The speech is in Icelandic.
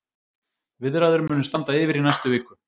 Viðræður munu standa yfir í næstu viku.